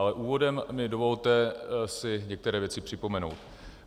Ale úvodem mi dovolte si některé věci připomenout.